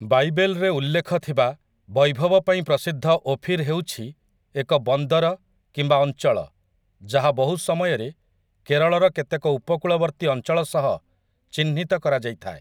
ବାଇବେଲ୍‌ରେ ଉଲ୍ଲେଖ ଥିବା, ବୈଭବ ପାଇଁ ପ୍ରସିଦ୍ଧ ଓଫିର୍ ହେଉଛି ଏକ ବନ୍ଦର କିମ୍ବା ଅଞ୍ଚଳ ଯାହା ବହୁ ସମୟରେ କେରଳର କେତେକ ଉପକୂଳବର୍ତ୍ତୀ ଅଞ୍ଚଳ ସହ ଚିହ୍ନିତ କରାଯାଇଥାଏ ।